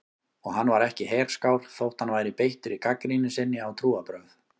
Og hann var ekki herskár þótt hann væri beittur í gagnrýni sinni á trúarbrögð.